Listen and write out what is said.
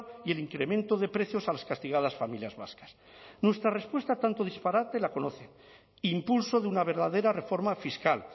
y el incremento de precios a las castigadas familias vascas nuestra respuesta a tanto disparate la conoce impulso de una verdadera reforma fiscal